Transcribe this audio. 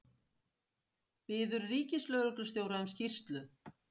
Biður ríkislögreglustjóra um skýrslu